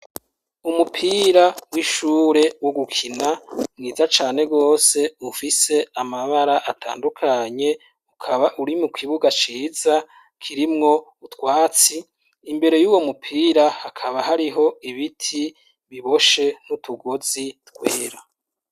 Umupira w'ishure wo gukina mwiza cane gose ufise amabara atandukanye, ukaba uri mu kibuga ciza kirimwo utwatsi, imbere y'uwo mupira hakaba hariho ibiti biboshe n'utugozi twera.